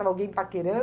Tava alguém